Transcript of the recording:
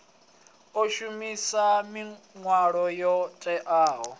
o shumisa milayo yo teaho